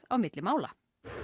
á milli mála